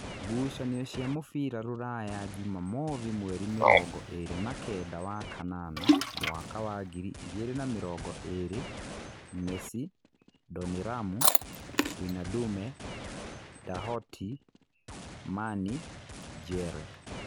Ngucanio cia mũbira Rūraya Jumamothi mweri mĩrongo ĩrĩ na kenda wa kanana mwaka wa ngiri igĩrĩ na mĩrongo ĩrĩ: Mesi, Ndoniramu, Wĩnadume, Ndohatĩ, Mani, Njere.